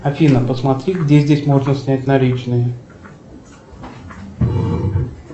афина посмотри где здесь можно снять наличные